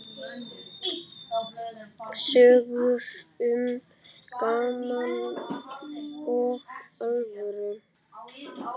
Sögur um gaman og alvöru.